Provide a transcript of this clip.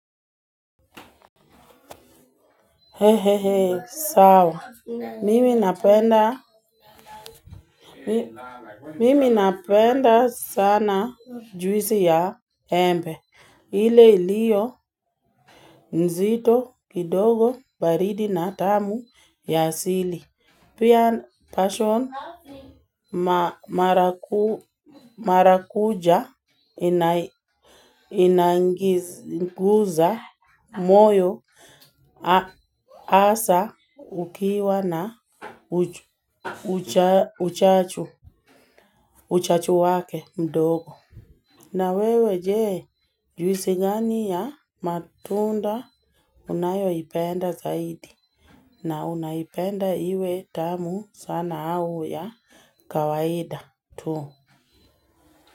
He he he sawa mimi napenda Mimi napenda sana juisi ya embe ile ilio nzito kidogo baridi na tamu ya asili Pia passion Marakuja Inanguza moyo Asa ukiwa na Uchachu wake mdogo na wewe je juisi gani ya matunda unayo ipenda zaidi na unaipenda iwe tamu sana au ya kawaida tu.